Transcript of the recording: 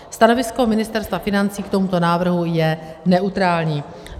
Stanovisko Ministerstva financí k tomuto návrhu je neutrální.